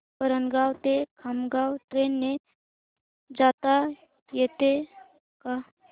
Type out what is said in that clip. वरणगाव ते खामगाव ट्रेन ने जाता येतं का